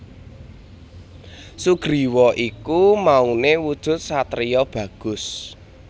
Sugriwa iku maune wujud satriya bagus